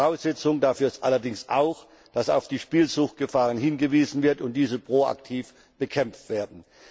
Voraussetzung dafür ist allerdings auch, dass auf die Gefahren der Spielsucht hingewiesen wird und diese proaktiv bekämpft werden.